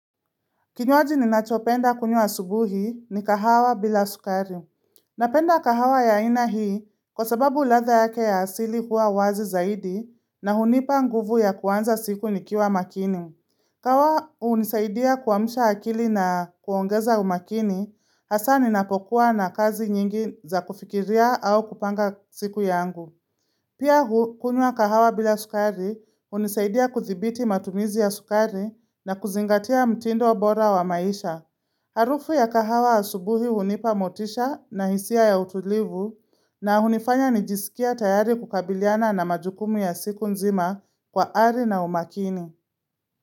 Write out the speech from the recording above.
Kinywaji ninachopenda kunywa asubuhi ni kahawa bila sukari. Napenda kahawa ya aina hii kwa sababu ladha yake ya asili hua wazi zaidi na hunipa nguvu ya kuanza siku nikiwa makini. Kahawa unisaidia kuamsha akili na kuongeza umakini, hasa ninapokuwa na kazi nyingi za kufikiria au kupanga siku yangu. Pia kunywa kahawa bila sukari hunisaidia kuthibiti matumizi ya sukari na kuzingatia mtindo bora wa maisha. Harufu ya kahawa asubuhi hunipa motisha na hisia ya utulivu na unifanya nijisikie tayari kukabiliana na majukumu ya siku nzima kwa hali na umakini.